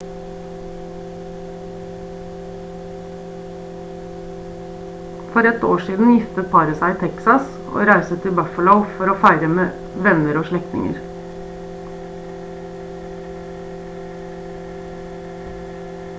for ett år siden giftet paret seg i texas og reiste til buffalo for å feire sammen med venner og slektninger